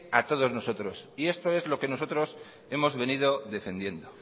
a todos nosotros esto es lo que nosotros hemos venido defendiendo